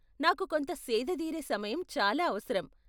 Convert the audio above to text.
నాకు కొంత సేద దీరే సమయం చాలా అవసరం.